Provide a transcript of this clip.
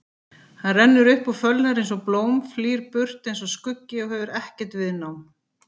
Hann rennur upp og fölnar einsog blóm, flýr burt einsog skuggi og hefur ekkert viðnám.